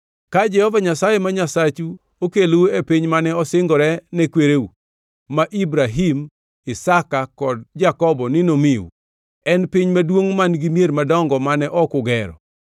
Ka Jehova Nyasaye ma Nyasachu okelou e piny mane osingore ne kwereu, ma Ibrahim, Isaka kod Jakobo ni nomiu. En piny maduongʼ, man-gi mier madongo mane ok ugero,